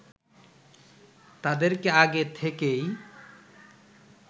তাদেরকে আগে থেকেই